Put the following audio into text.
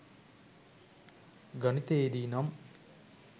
ගණිතයේ දී නම්